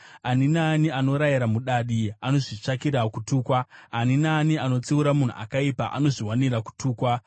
“Ani naani anorayira mudadi anozvitsvakira kutukwa; ani naani anotsiura munhu akaipa anozviwanira kutukwa.